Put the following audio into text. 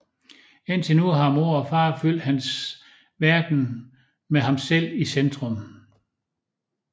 Indtil nu har mor og far fyldt hans verden med ham selv i centrum